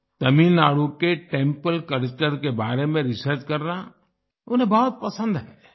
तमिलनाडु के temple culture के बारे में रिसर्च करना उन्हें बहुत पसंद है